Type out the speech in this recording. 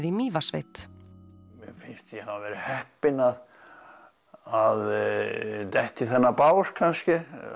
í Mývatnssveit mér finnst ég hafa verið heppinn að að detta í þennan bás kannski